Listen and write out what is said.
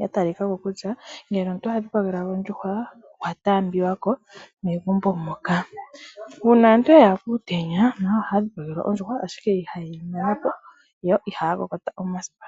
ya talika ko kutya ngele omuntu okwa dhipagelwa ondjuhwa okwa taambiwa ko megumbo ,uuna aantu yayi kuutenya nayo ohaa dhipagelwa ondjuhwa ashike ihayeyi mana po yo iha ya kokota omasipa.